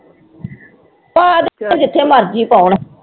ਪਾ ਦੇਣ ਜਿੱਥੇ ਮਰਜ਼ੀ ਪਾਉਣ।